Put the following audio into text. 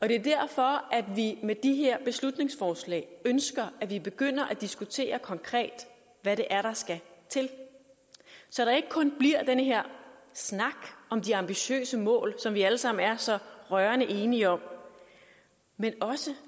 det er derfor at vi med de her beslutningsforslag ønsker at vi begynder at diskutere konkret hvad det er der skal til så der ikke kun bliver den her snak om de ambitiøse mål som vi alle sammen er så rørende enige om men også